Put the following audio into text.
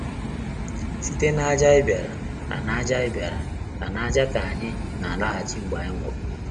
Site n’ájá anyị bịara, na n’ájá bịara, na n’ájá ka anyị na-alaghachi mgbe anyị nwụrụ.